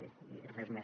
i res més